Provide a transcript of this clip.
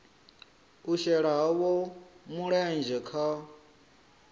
u shela havho mulenzhe kha